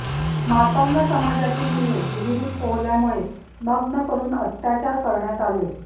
मातंग समाजाची मुले विहिरीत पोहल्यामुळे नग्न करून अत्याचार करण्यात आले